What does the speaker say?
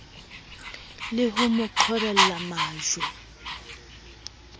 le ho mo qhobella majwe